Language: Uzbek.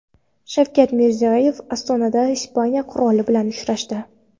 Shavkat Mirziyoyev Ostonada Ispaniya qiroli bilan uchrashdi.